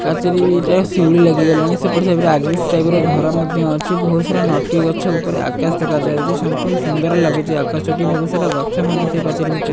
ପାଚେରୀରେ ଶିଉଳି ଲାଗି ଗଲାଣି। ସେପଟ ସାଇଡ଼ ରେ ଆଜବେଷ୍ଟସ ଟାଇପ୍ ର ଘର ମଧ୍ୟ ଅଛି। ବହୁତ୍ ସାରା ନଟି ଗଛ ଉପରେ ଆକାଶ ଦେଖାଯାଉଛି। ସମ୍ପୂର୍ଣ୍ଣ ସୁନ୍ଦର୍ ଲାଗୁଚି ଆକାଶଟି। ବହୁତ୍ ସାରା ଗଛ ମଧ୍ୟ ସେ ପାଚେରୀ ଭିତରେ --